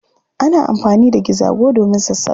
Ana anfani da gizago domin sassaƙa.